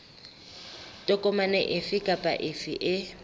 tokomane efe kapa efe e